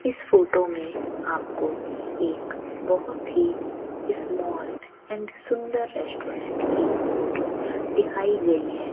इस फोटो में आपको एक बहुत ही स्मॉल एंड सुंदर रेस्टोरेंट की फोटो दिखाई गई है।